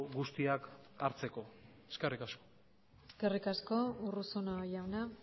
guztiak hartzeko eskerrik asko eskerrik asko urruzuno jauna